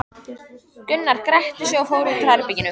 Gunnar gretti sig og fór út úr herberginu.